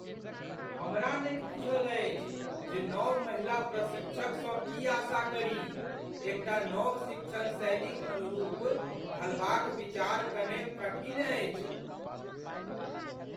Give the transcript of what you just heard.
हमरा नहि बूझल अछि जे नव महिला प्रशिक्षकसँ की आशा करी। एक टा नव शिक्षण शैलीक अनुरूप ढलबाक विचार कने कठिन अछि।